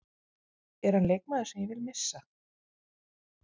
Er hann leikmaður sem ég vil missa?